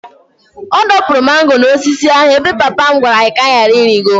Ọ dọpụrụ mango n'osisi ahụ ebe papa m gwara anyị ka anyị ghara ịrịgo.